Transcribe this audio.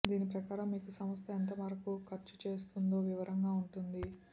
దీని ప్రకారం మీకు సంస్థ ఎంతమేర ఖర్చు చేస్తుందో వివరంగా ఉంటుంది